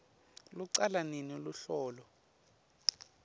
lucala nini luhlolo